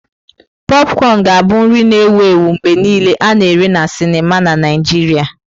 Popcorn ga-abụ nri na-ewu ewu mgbe niile a na-ere na sinima na Naịjirịa.